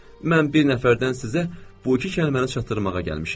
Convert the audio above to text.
Mən bir nəfərdən sizə bu iki kəlməni çatdırmağa gəlmişəm.